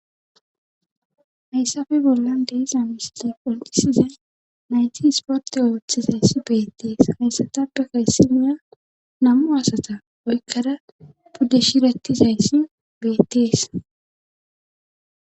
hayssafe bollan deiza misile qonqisizay nayti sporte ooththizayssi beettees hayssatapde kayssimiya namu asata oykkada budde shirettizayssi beettees